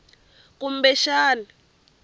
kumbexani